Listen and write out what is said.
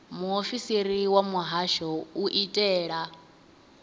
muofisiri wa muhasho u itela